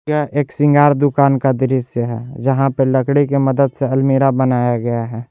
यह एक श्रृंगार दुकान का दृश्य है जहाँ पे लकड़ी की मदद से अलमीरा बनाया गया है।